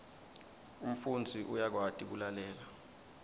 umfundzi uyakwati kulalela